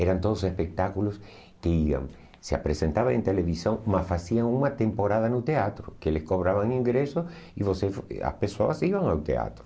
Eram todos espetáculos que iam se apresentavam em televisão, mas faziam uma temporada no teatro, que eles cobravam ingressos e você as pessoas iam ao teatro.